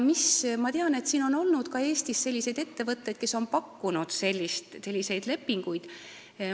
Ma tean, et Eestis on olnud ettevõtteid, kes on pakkunud selliseid lepinguid.